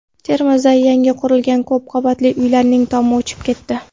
Termizda yangi qurilgan ko‘p qavatli uylarning tomi uchib ketdi.